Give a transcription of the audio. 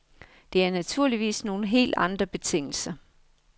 Det er naturligvis nogle helt andre betingelser.